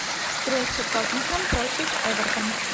встреча тоттенхэм против эвертон